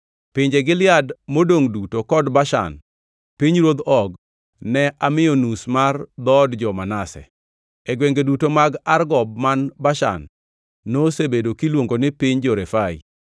Pinje Gilead modongʼ duto kod Bashan, pinyruodh Og, ne amiyo nus mar dhood jo-Manase. (E gwenge duto mag Argob man Bashan, nosebedo kiluongo ni piny jo-Refai.